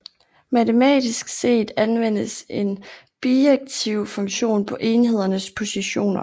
Matematisk set anvendes en bijektiv funktion på enhedernes positioner